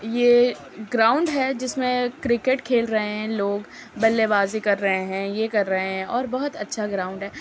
ये ग्राउंड है जिसमे क्रिकेट खेल रहे है लोग बल्लेबाज़ी कर रहे है ये कर रहें हैं और बहुत अच्छा ग्राउंड है।